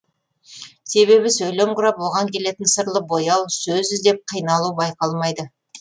себебі сөйлем құрап оған келетін сырлы бояу сөз іздеп қиналу байқалмайды